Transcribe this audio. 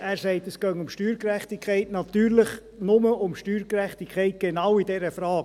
Er sagt, es gehe um Steuergerechtigkeit, natürlich nur um Steuergerechtigkeit in genau dieser Frage.